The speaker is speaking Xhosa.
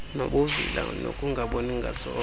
nobuvila nokungaboni ngasonye